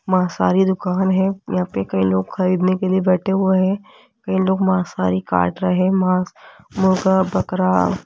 मांसाहारी दुकान है यहां पे कई लोग खरीदने के लिए बैठे हुए हैं कई लोग मांसाहारी काट रहे माँस मुर्गा बकरा --